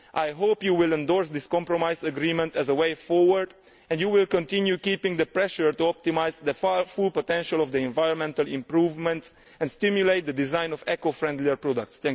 I hope you will endorse this compromise agreement as a way forward and you will continue keeping up the pressure to optimise the full potential for environmental improvement and stimulate the design of eco friendlier products.